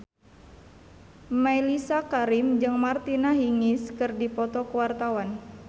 Mellisa Karim jeung Martina Hingis keur dipoto ku wartawan